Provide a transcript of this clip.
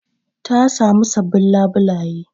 Ta samu sabbin labulaye